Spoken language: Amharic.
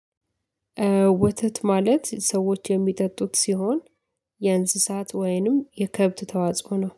ወተት ማለት ሰዎች የሚጠጡት ሲሆን የእንስሳት ወይንም የከብት ተዋጽኦ ነው